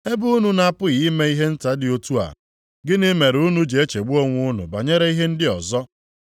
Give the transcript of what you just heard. Ebe unu na-apụghị ime ihe nta dị otu a, gịnị mere unu ji echegbu onwe unu banyere ihe ndị ọzọ?